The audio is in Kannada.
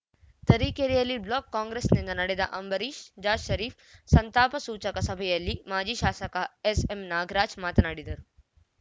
ತರೀಕೆರೆಯಲ್ಲಿ ಬ್ಲಾಕ್‌ ಕಾಂಗ್ರೆಸ್‌ನಿಂದ ನಡೆದ ಅಂಬರೀಶ್‌ ಜಾ ಷರೀಫ್‌ ಸಂತಾಪ ಸೂಚಕ ಸಭೆಯಲ್ಲಿ ಮಾಜಿ ಶಾಸಕ ಎಸ್‌ಎಂನಾಗರಾಜ್‌ ಮಾತನಾಡಿದರು